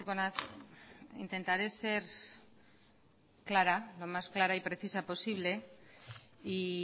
naiz intentaré ser clara lo más clara y precisa posible y